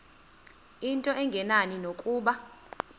into engenani nokuba